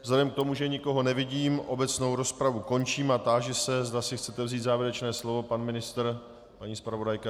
Vzhledem k tomu, že nikoho nevidím, obecnou rozpravu končím a táži se, zda si chcete vzít závěrečné slovo - pan ministr, paní zpravodajka?